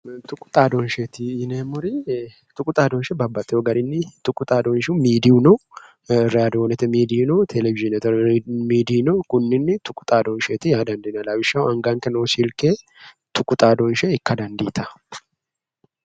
Tuqu xaadooshsheeti yineemmori tuqu xaadooshshi babbaxxiwo garinni xaadooshshi miidiyu no raadoonete miidiyi no televiyiinete miidiyi no. Konninni tuqu xaadooshsheeti yaa dandiinanni. Lawishshaho anganke noo silke tuqu xaadooshshe ikka dandiitawo.